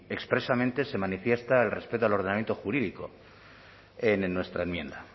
expresamente se manifiesta el respeto al ordenamiento jurídico en nuestra enmienda